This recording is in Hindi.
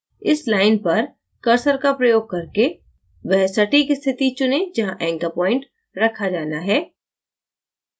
इस line पर cursor का प्रयोग करके वह सटीक स्थिति चुनें जहाँ anchor point रखा जाना है